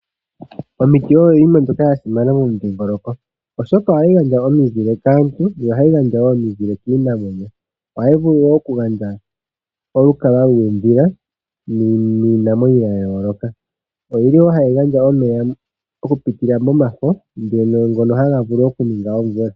Omiti oyo iinima mbyoka ya simana mo midhiingoloko. Ohadhi gandja omizile kaantu dho ohadhi gandja woo ominzile kiinamwenyo. Oha yi vulu woo oku gandja olukalwa luudhila niinamwenyo ya yooloka. Oyili woo hayi gandja omeya oku pitila mo mafo, ngono haga vulu oku ninga omvula..